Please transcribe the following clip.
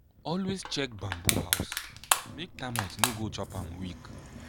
always check bamboo house make termite no go chop am weak.